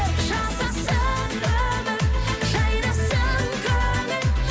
жасасын өмір жайнасын көңіл